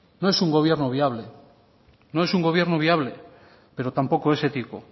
no es un gobierno viable no es un gobierno viable pero tampoco es ético